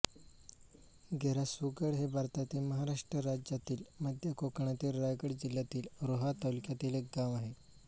घेरासुरगड हे भारतातील महाराष्ट्र राज्यातील मध्य कोकणातील रायगड जिल्ह्यातील रोहा तालुक्यातील एक गाव आहे